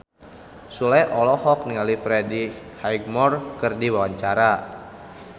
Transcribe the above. Sule olohok ningali Freddie Highmore keur diwawancara